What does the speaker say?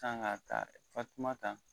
San ka taa fatumata